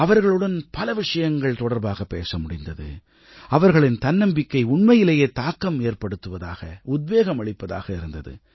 அவர்களுடன் பல விஷயங்கள் தொடர்பாகப் பேசமுடிந்தது அவர்களின் தன்னம்பிக்கை உண்மையிலேயே தாக்கம் ஏற்படுத்துவதாக உத்வேகம் அளிப்பதாக இருந்தது